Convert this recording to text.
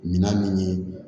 Minan min ye